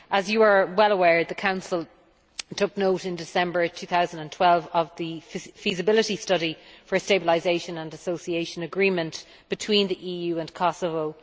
As you are well aware, the Council took note in December 2012 of the Feasibility Study for a Stabilisation and Association Agreement between the EU and Kosovo.